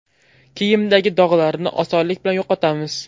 Kiyimdagi dog‘larni osonlik bilan yo‘qotamiz.